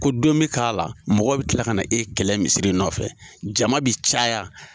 Ko don bɛ k'ala mɔgɔw bɛ kila ka na e kɛlɛ misiri nɔfɛ, jama bɛ caya.